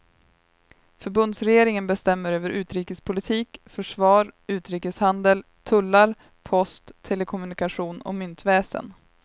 Förbundsregeringen bestämmer över utrikespolitik, försvar, utrikeshandel, tullar post, telekommunikation och myntväsen.